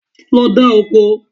Lọ dá oko.